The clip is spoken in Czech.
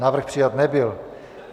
Návrh přijat nebyl.